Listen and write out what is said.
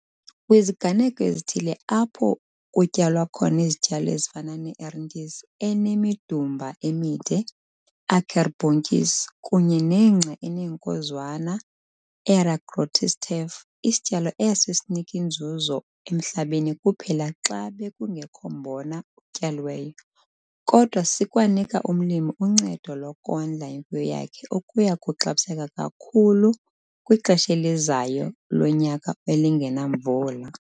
Kwiziganeko ezithile apho kutyalwa khona izityalo ezifana ne-ertyisi enemidumba emide, akkerboontjies, kunye nengca eneenkozwana, eragrostis tef, isityalo eso asiniki nzuzo emhlabeni kuphela xa bekungekho mbona utyaliweyo, kodwa sikwanika umlimi uncedo lokondla imfuyo yakhe okuya kuxabiseka kakhulu kwixesha elizayo lonyaka elingenamvula.